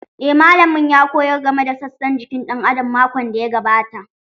Eh malamin ya koyar game da sassan jiki ɗan adam makon da ya gabata